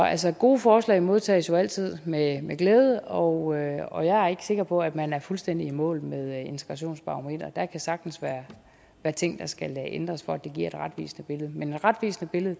altså gode forslag modtages jo altid med glæde og og jeg er ikke sikker på at man er fuldstændig i mål med integrationsbarometret der kan sagtens være ting der skal ændres for at det giver et retvisende billede men et retvisende billede